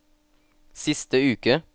siste uke